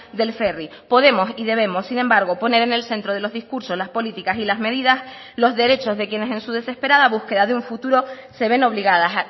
del ferry podemos y debemos sin embargo poner en el centro de los discursos las políticas y las medidas los derechos de quienes en su desesperada búsqueda de un futuro se ven obligadas